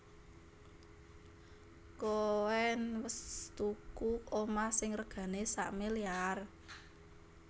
Koen wes tuku omah sing regane sakmiliar?